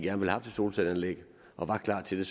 have haft et solcelleanlæg og var klar til det